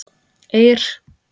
Eir